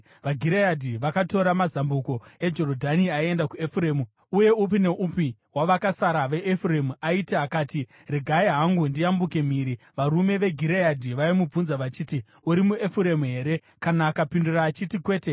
VaGireadhi vakatora mazambuko eJorodhani aienda kuEfuremu, uye upi noupi wavakasara veEfuremu aiti akati, “Regai hangu ndiyambukire mhiri,” varume veGireadhi vaimubvunza vachiti, “Uri muEfuremu here?” Kana akapindura achiti, “Kwete,”